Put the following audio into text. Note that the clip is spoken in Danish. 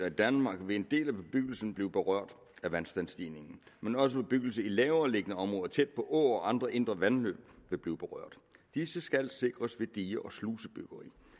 i danmark vil en del af bebyggelsen blive berørt af vandstandsstigninger men også bebyggelse i lavereliggende områder tæt på åer og andre indre vandløb vil blive berørt disse skal sikres ved dige og slusebyggeri